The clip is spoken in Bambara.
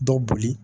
Dɔ boli